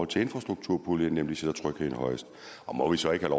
til infrastrukturproblemet nemlig sætter trygheden højest og må vi så ikke